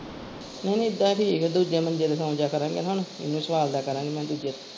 ਨਹੀਂ ਨਹੀਂ ਏਦਾਂ ਹੀ ਠੀਕ ਆ ਦੂਜੇ ਮੰਜੇ ਤੇ ਸੋ ਜਾਇਆ ਕਰਾਂਗੇ ਹੁਣ ਇਹਨੂੰ ਸਵਾਲਦਿਆ ਕਰਾਂਗੀ ਮੈਂ ਦੂਜੇ ਤੇ।